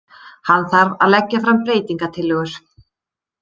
Hann þarf að leggja fram breytingatillögur.